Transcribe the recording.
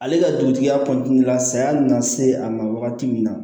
Ale ka dugutigiya kɔnɔna la saya nana se a ma wagati min na